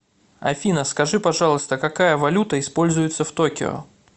афина скажи пожалуйста какая валюта используется в токио